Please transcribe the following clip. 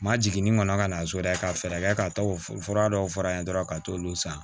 Ma jiginni kɔnɔ ka na so dɛ ka fɛɛrɛ kɛ ka taa o fura dɔw f'a ye dɔrɔn ka t'olu san